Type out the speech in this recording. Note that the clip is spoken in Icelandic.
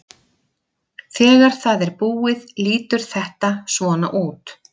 Þegar það er búið lítur þetta svona út: